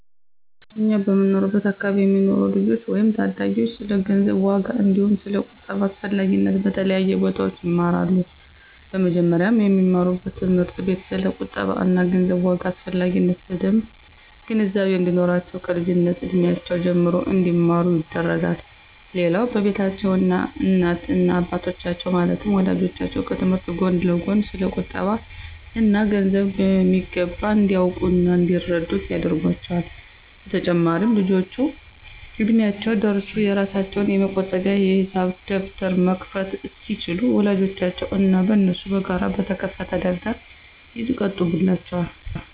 እኛ በምንኖርበት አከባቢ የሚኖሩ ልጆች ወይም ታዳጊዎች ስለ ገንዘብ ዋጋ አንዲሁም ስለ ቁጠባ አስፈላጊነት በተለያዩ ቦታዎች ይማራሉ። በመጀመሪያም በሚማሩበት ትምህርት ቤት ስለ ቁጠባ እና ገንዘብ ዋጋ አስፈላጊነት በደምብ ግንዛቤ እንዲኖራቸው ከልጅነት እድሜያቸው ጀምሮ እንዲማሩ ይደረጋል። ሌላው በቤታቸውም እናት እና አባቶቻቸው ማለትም ወላጆቻቸው ከትምህርታቸው ጎን ለጎን ስለ ቁጠባ እና ገንዘብ በሚገባ እንዲያውቁ እና እንዲረዱት ያደርጓቸዋል። በተጨማሪም ልጆቹ እድሚያቸው ደርሶ የራሳቸውን የመቆጠቢያ የሂሳብ ደብተር መክፈት እስኪችሉ በወላጆቻቸው እና በነሱ በጋራ በተከፈተ ደብተር ይቆጥቡላቸዋል።